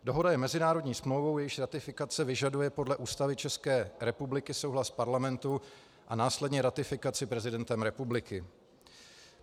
Dohoda je mezinárodní smlouvou, jejíž ratifikace vyžaduje podle Ústavy České republiky souhlas Parlamentu a následně ratifikaci prezidentem republiky.